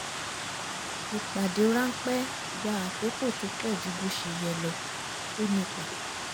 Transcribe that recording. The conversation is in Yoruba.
ìpàdé ráńpẹ́ gba àkókò tó pọ̀ ju bó ṣe yẹ lọ ó nípa